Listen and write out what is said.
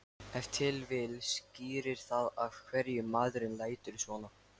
Ef til vill skýrir það af hverju maðurinn lætur svona.